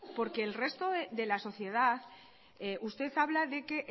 porque el resto de la sociedad usted habla de que